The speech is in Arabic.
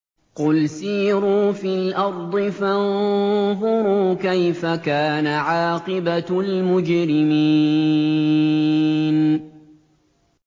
قُلْ سِيرُوا فِي الْأَرْضِ فَانظُرُوا كَيْفَ كَانَ عَاقِبَةُ الْمُجْرِمِينَ